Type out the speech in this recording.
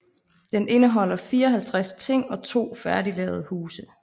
Den indeholder 54 ting og to færdiglavede huse